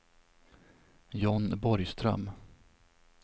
John Borgström